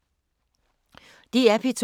DR P2